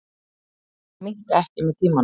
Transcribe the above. Þau minnka ekki með tímanum.